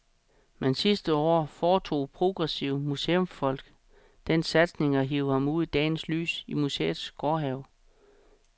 Men sidste år foretog progressive museumsfolk den satsning at hive ham ud i dagens lys i museets gårdhave.